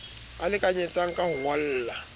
a lekanyetsang ka ho ngolla